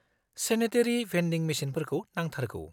-Sanitary vending मेसिनफोरखौ नांथारगौ।